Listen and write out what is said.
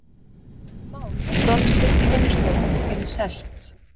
Gerður tók ekki í mál að bronsið í vinnustofunni yrði selt.